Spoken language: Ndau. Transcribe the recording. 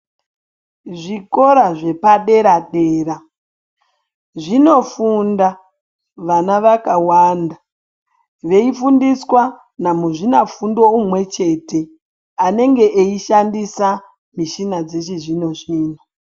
Zvikora zvepadera-dera zvinofunda vana vakawanda veifundiswa namuzvina fundo umwe chete. Anenge eishandisa mishina dzechizvino-zvino.